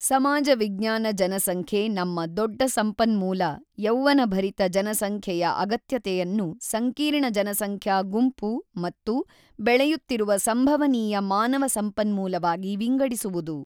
ಸಮಾಜ ವಿಜ್ಞಾನ ಜನಸಂಖ್ಯೆ ನಮ್ಮ ದೊಡ್ಡ ಸಂಪನ್ಮೂಲ ಯೌವ್ವನಭರಿತ ಜನಸಂಖ್ಯೆಯ ಅಗತ್ಯತೆಯನ್ನು ಸಂಕೀರ್ಣ ಜನಸಂಖ್ಯಾ ಗುಂಪು ಮತ್ತು ಬೆಳೆಯುತ್ತಿರುವ ಸಂಭವನೀಯ ಮಾನವ ಸಂಪನ್ಮೂಲವಾಗಿ ವಿಂಗಡಿಸುವುದು.